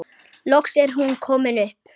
Loks er hún komin upp.